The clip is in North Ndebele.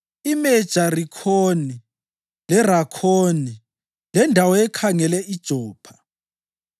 iMe-Jarikhoni leRakhoni lendawo ekhangele iJopha.